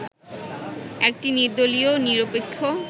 একটি নির্দলীয়-নিরপেক্ষ